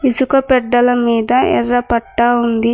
ఇసుక పెట్టల మీద ఎర్ర పట్టా ఉంది.